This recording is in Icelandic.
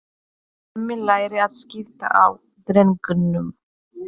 Hemmi lærir að skipta á drengnum.